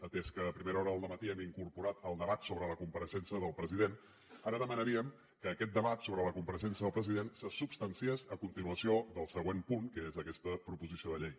atès que a primera hora del dematí hem incorporat el debat sobre la compareixença del president ara demanaríem que aquest debat sobre la compareixença del president se substanciés a continuació del següent punt que és aquesta proposició de llei